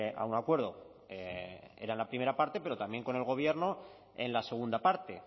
a un acuerdo era en la primera parte pero también con el gobierno en la segunda parte